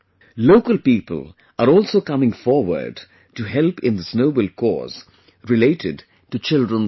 Local people are also coming forward to help in this noble cause related to children's education